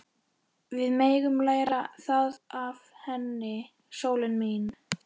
Við megum læra það af henni, sólin mín.